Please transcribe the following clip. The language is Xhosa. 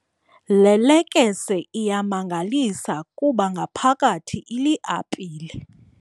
Le lekese iyamangalisa kuba ngaphakathi iliapile.